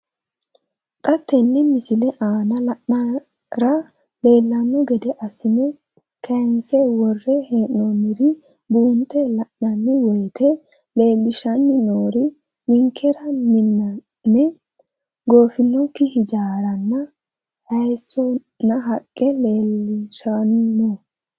Xa tenne missile aana la'nara leellanno gede assine kayiinse worre hee'noonniri buunxe la'nanni woyiite leellishshanni noori ninkera miname goofinokki ijaaranna hayiissonna haqqe leellishshanno.